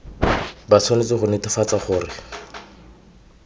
ba tshwanetse go netefatsa gore